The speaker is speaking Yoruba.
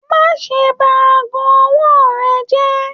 Má ṣe bá aago ọwọ rẹ jẹ!